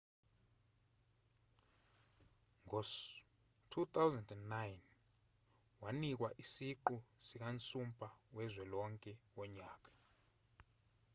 ngo-2009 wanikwa isiqu sikansumpa wezwe lonke wonyaka